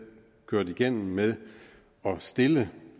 kørt igennem med at stille